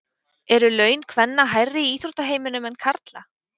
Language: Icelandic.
Eru laun kvenna hærri í íþróttaheiminum en karla?